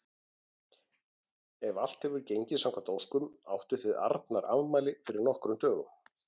Ef allt hefur gengið samkvæmt óskum áttuð þið Arnar afmæli fyrir nokkrum dögum.